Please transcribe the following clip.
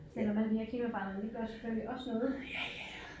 Selvom alle de her klimaforandringer de gør selvfølgelig også noget